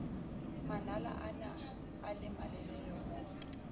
manala onaa le malelele ho